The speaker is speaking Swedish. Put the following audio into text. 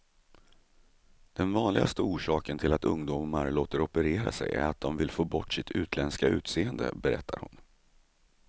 Den vanligaste orsaken till att ungdomar låter operera sig är att de vill få bort sitt utländska utseende, berättar hon.